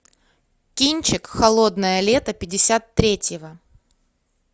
кинчик холодное лето пятьдесят третьего